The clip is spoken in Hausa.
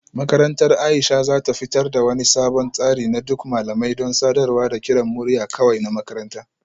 Makarantar Aisha za ta fitar da wani sabon tsari na duk malamai don sadarwa da kiran murya kawai a makaranta